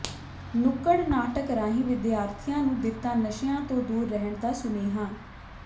ਨੁੱਕੜ ਨਾਟਕ ਰਾਹੀਂ ਵਿਦਿਆਰਥੀਆਂ ਨੂੰ ਦਿੱਤਾ ਨਸ਼ਿਆਂ ਤੋਂ ਦੂਰ ਰਹਿਣ ਦਾ ਸੁਨੇਹਾ